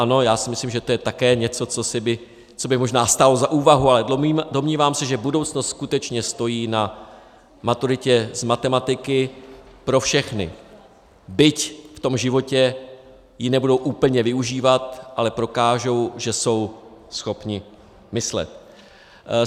Ano, já si myslím, že to je také něco, co by možná stálo za úvahu, ale domnívám se, že budoucnost skutečně stojí na maturitě z matematiky pro všechny, byť v tom životě ji nebudou úplně využívat, ale prokážou, že jsou schopni myslet.